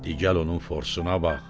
Digəl onun forsununa bax.